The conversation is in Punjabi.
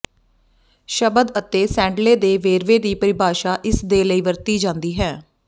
ਸ਼ਬਦ ਅਤੇ ਸੈਂਡਲੇ ਦੇ ਵੇਰਵੇ ਦੀ ਪਰਿਭਾਸ਼ਾ ਇਸਦੇ ਲਈ ਵਰਤੀ ਜਾਂਦੀ ਹੈ